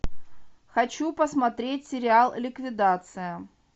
хочу посмотреть сериал ликвидация